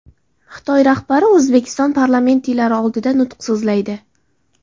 Xitoy rahbari O‘zbekiston parlamentariylari oldida nutq so‘zlaydi.